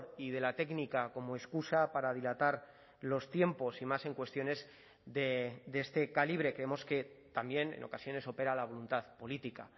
y de la técnica como excusa para dilatar los tiempos y más en cuestiones de este calibre creemos que también en ocasiones opera la voluntad política